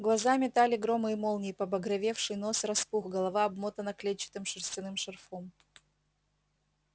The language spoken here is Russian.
глаза метали громы и молнии побагровевший нос распух голова обмотана клетчатым шерстяным шарфом